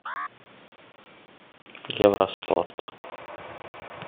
евроспорт